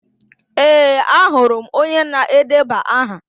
Ee, ahụrụ m onye na-edeba aha.